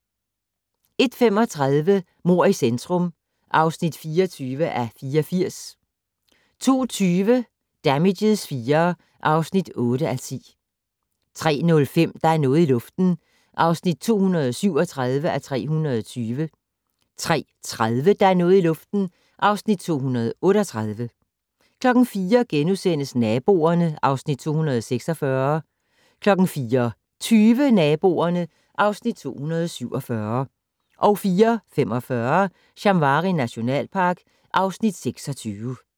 01:35: Mord i centrum (24:84) 02:20: Damages IV (8:10) 03:05: Der er noget i luften (237:320) 03:30: Der er noget i luften (238:320) 04:00: Naboerne (Afs. 246)* 04:20: Naboerne (Afs. 247) 04:45: Shamwari nationalpark (Afs. 26)